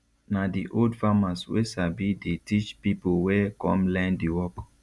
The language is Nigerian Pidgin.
na di old farmers wey sabi dey teach pipo wey come learn di work